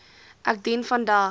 ek dien vandag